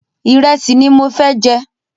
Ìrẹ́sì ni mo fẹ́ jẹ.